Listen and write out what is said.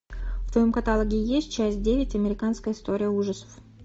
в твоем каталоге есть часть девять американская история ужасов